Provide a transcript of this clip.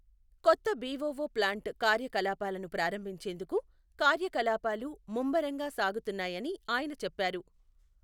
కొత్త BOO plant కార్యకలాపాలను ప్రారంభించేందుకు కార్యకలాపాలు ముమ్మరంగా సాగుతున్నాయని ఆయన చెప్పారు.